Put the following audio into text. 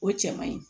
O cɛ man ɲi